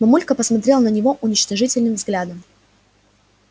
мамулька посмотрела на него уничижительным взглядом